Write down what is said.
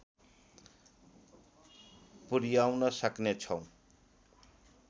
पुर्‍याउन सक्नेछौँ